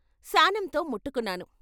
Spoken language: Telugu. శానంతో ముట్టుకున్నాను.